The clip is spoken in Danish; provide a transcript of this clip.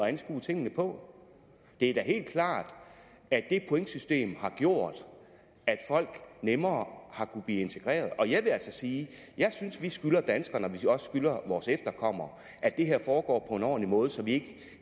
at anskue tingene på det er da helt klart at det pointsystem har gjort at folk nemmere har kunnet blive integreret og jeg vil altså sige at jeg synes vi skylder danskerne og også vores efterkommere at det her foregår på en ordentlig måde så vi